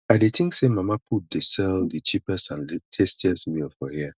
i dey think say mama put dey sell di cheapest and tastiest meal for here